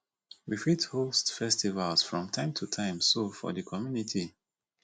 we fit host festivals from time to time so for di community